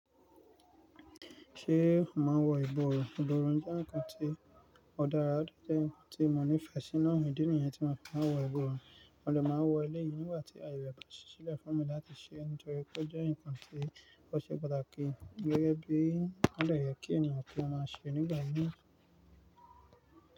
Ṣé màá wọ ìborùn? Ìborùn jẹ́ ǹkan tí ó dára, ó jẹ́ ǹkan tí mo nífẹ̀ẹ́ sí, náà ni òní dìníyẹn tí máa fi máa wọ ìborùn, mo de máa wọọ ilé yìí nígbà tí a yè pa ṣíṣí lẹ̀ fún mi láti ṣẹ́ nítorí pé ó jẹ́ ǹkan tí ó ṣe pàtàkì gẹ́gẹ́ bí àwọn èèyàn tó máa ṣe nígbà mí.